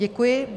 Děkuji.